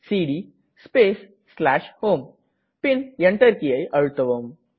CD space home பின் Enter கீயை அழுத்தவும்